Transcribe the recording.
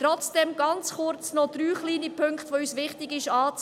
Trotzdem noch drei kleine Punkte, die uns anzumerken wichtig sind.